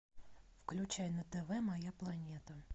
включай на тв моя планета